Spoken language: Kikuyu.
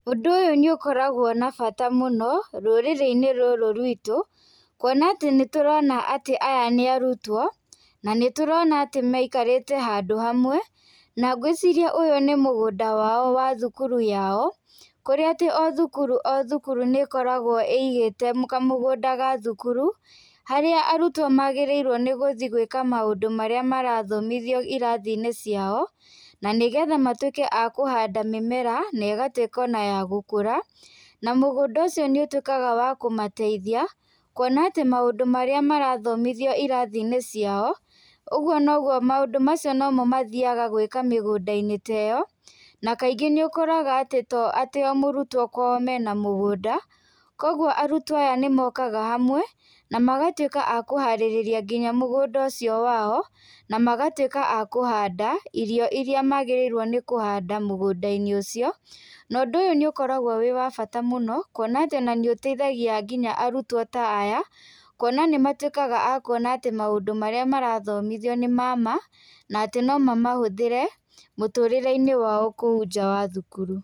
Ũndũ ũyũ nĩ ũkoragwo na bata mũno rũrĩrĩ inĩ rũrũ rwĩtũ, kũona atĩ nĩ tũrona atĩ aya nĩ arũtwo na nĩtũrona atĩ maikarĩte handũ hamwe na ngwĩcirĩa ũyũ nĩ mũgũnda wa thũkũrũ yao kũrĩa atĩ o thũkũrũ o thũkũrũ nĩ ĩkoragwo ĩigĩte kamũgũnda ga thũkũrũ harĩa arũtwo nĩgũthiĩ gwĩka maũndũ marĩa marathomithio ĩrathi inĩ ciao na nĩgetha matũĩke a kũhanda mĩmera na ĩgatũĩka ya gũkũra na mũgũnda ũcio nĩ ũtwĩka wa kũmateithia kũona atĩ maũndũ marĩa marathomĩthio ĩrathĩ inĩ ciao ũgũo nogũo maũndũ umacio nomo mathiaga gwĩka mĩgũnda inĩ ta ĩyo na kaĩngĩ nĩ ũkora atĩ to o mũrũtwo kwao mena mũgũnda kũogũo arũtuwo aya nĩmokaga hamwe na magatũĩka atĩ akũharĩrĩria nginya mgũnda ũcio wao na magatũĩka akũhanda irĩo ĩrĩa magĩrĩirwo nĩkũhanda mũgũnda inĩ ũcio na ũndũ ũyũ nĩ ũkoragwo wĩ wa bata mũno kũona atĩ nĩũteithagia nginya arũtwo ta aya kũona nĩ matũĩkaga akũona atĩ maũndũ marĩa marathomithio nĩ mama na nomama mahũthĩre kũu nja wa cũkũrũ.